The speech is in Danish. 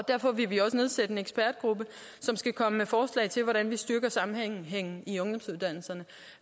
derfor vil vi nedsætte en ekspertgruppe som skal komme med forslag til hvordan vi styrker sammenhængen i ungdomsuddannelserne